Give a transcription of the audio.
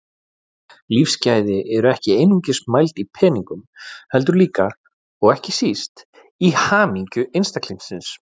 Lífsgæði eru ekki einungis mæld í peningum heldur líka, og ekki síst, í hamingju einstaklingsins.